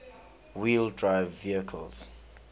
wheel drive vehicles